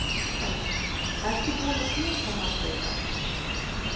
Helga: Ertu búin að knúsa marga í dag?